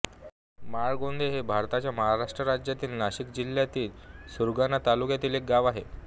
माळगोंदे हे भारताच्या महाराष्ट्र राज्यातील नाशिक जिल्ह्यातील सुरगाणा तालुक्यातील एक गाव आहे